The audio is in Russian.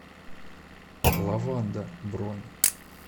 лаванда бронь